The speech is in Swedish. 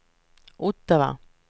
Ottawa